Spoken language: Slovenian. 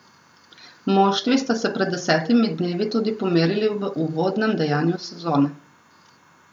Moštvi sta se pred desetimi dnevi tudi pomerili v uvodnem dejanju sezone.